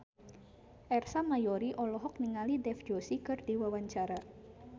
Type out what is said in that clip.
Ersa Mayori olohok ningali Dev Joshi keur diwawancara